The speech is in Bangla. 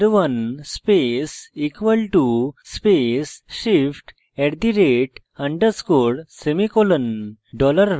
$var1 space = space shift @_ semicolon